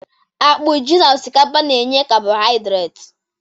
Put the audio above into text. Akpụ, ji na osikapa na-enye kabọhiadret